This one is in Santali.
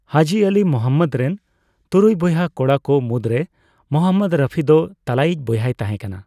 ᱦᱟᱹᱡᱤ ᱟᱹᱞᱤ ᱢᱚᱦᱚᱢᱽᱢᱚᱫ ᱨᱮᱱ ᱛᱩᱨᱩᱭ ᱵᱚᱭᱦᱟ ᱠᱚᱲᱟ ᱠᱚ ᱢᱩᱫᱨᱮ ᱢᱚᱦᱚᱢᱽᱢᱚᱫ ᱨᱚᱯᱷᱤ ᱫᱚ ᱛᱟᱞᱟᱭᱤᱡ ᱵᱚᱭᱦᱟᱭ ᱛᱟᱦᱮᱸᱠᱟᱱᱟ ᱾